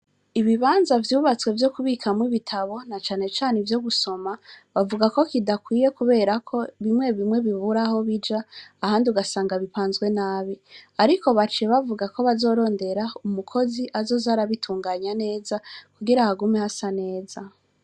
Ibibanza vyubatswe vyo kubikamwo ibitabo nacanecane ivyogusoma bavugako kidakwiye kuberako bimwe bimwe bibura aho bija ahandi ugasanga bipanze nabi. Ariko baciye bavuga ko bazorondera umukozi azoza arabitunganya neza kugira hagume hasa neza.